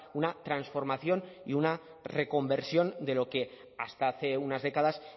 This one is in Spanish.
una transformación y una reconversión de lo que hasta hace unas décadas